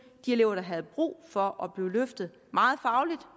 de elever der havde brug for at blive løftet meget fagligt